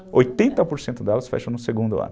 oitenta por cento delas fecham no segundo ano.